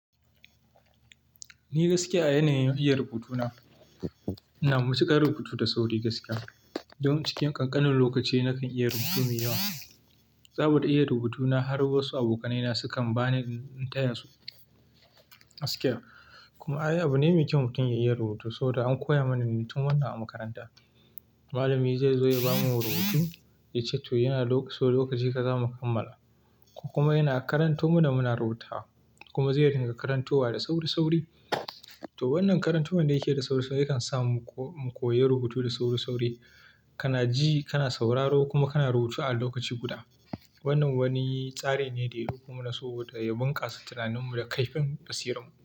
Ni gaskiya a yanayin iya rubutu na, ina matuƙar rubutu da sauri gaskiya. Don cikin ƙanƙanin lokaci nakan iya rubutu mai yawa. Saboda iya rubutu na har wasu abokanai na ma sukan ba ni in taya su gaskiya. Kuma ai abu ne mai kyau mutum ya iya rubutu saboda an koya mana muyi tun wannan a makaranta. Malami zai zo ya bamu rubutu, ya ce to yana so lokaci kaza mu kammala. Ko kuma yana karanto mana muna rubutawa kuma zai ringa karantowa da sauri sauri. To wannan karantowan da yake da sauri sauri yakan sa mu koyi rubutu da sauri sauri. Kana ji, kana sauraro kuma kana rubutu a lokaci guda. Wannan wani tsari ne dai kuma na so da ya bunƙasa tunaninmu da kaifin basirarmu.